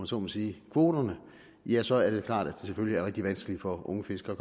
så må sige kvoterne ja så er det klart at det selvfølgelig er rigtig vanskeligt for unge fiskere